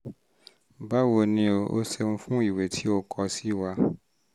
báwo ni o? o ṣeun fún ìwé tí o kọ sí wa